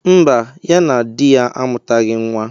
Mba, ya na di ya amutaghi nwa.